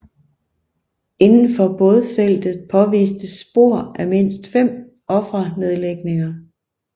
Indenfor bådfeltet påvistes spor af mindst fem offernedlægninger